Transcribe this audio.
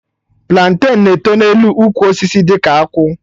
Planten na-eto n'elu ukwu osisi dị ka akwụ